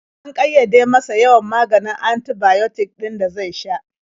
An ƙayyade masa yawan maganin antibiotic ɗin da zai sha.